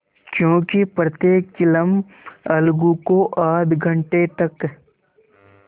क्योंकि प्रत्येक चिलम अलगू को आध घंटे तक